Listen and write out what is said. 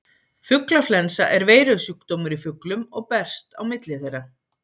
Fuglaflensa er veirusjúkdómur í fuglum og berst á milli þeirra.